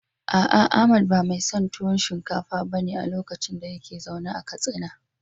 A'a Ahmad ba mai son tuwo shinkafa ba ne a lokacin da yake zaune a Katsina.